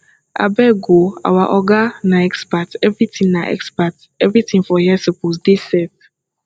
abeg o our oga na expert everytin na expert everytin for here suppose dey set